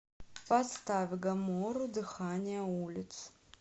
поставь гамору дыхание улиц